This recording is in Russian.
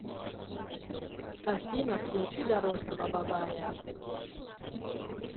афина включи дорожного бабая